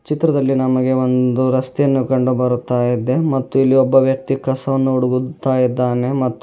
ಚಿತ್ರದಲ್ಲಿ ನಮಗೆ ಒಂದು ರಸ್ತೆಯನ್ನು ಕಂಡು ಬರುತ್ತಾ ಇದೆ ಮತ್ತು ಇಲ್ಲಿ ಒಬ್ಬ ವ್ಯಕ್ತಿ ಕಸವನ್ನು ಹುಡುಗುತ್ತಾ ಇದ್ದಾನೆ ಮತ್ತು--